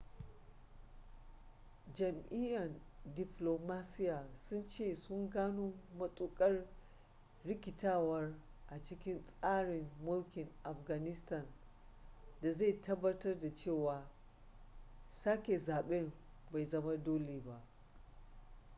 jami'an diflomasiyya sun ce sun gano matuƙar rikitarwa a cikin tsarin mulkin afghanistan da zai tabbatar da cewa sake zaben bai zama dole ba